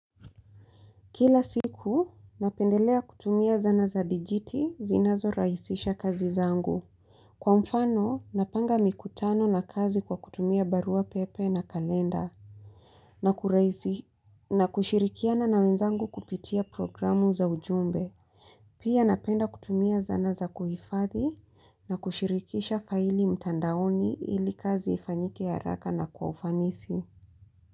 Kila siku napendelea kutumia zana za dijiti zinazorahisisha kazi zangu. Kwa mfano napanga mikutano na kazi kwa kutumia baruapepe na kalenda. Na kushirikiana na wenzangu kupitia programu za ujumbe. Pia napenda kutumia zana za kuhifadhi na kushirikisha faili mtandaoni ili kazi ifanyike haraka na kwa ufanisi.